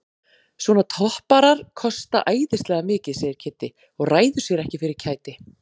Svona topparar kosta æðislega mikið segir Kiddi og ræður sér ekki fyrir kæti.